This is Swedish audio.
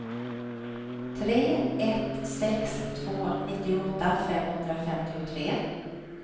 tre ett sex två nittioåtta femhundrafemtiotre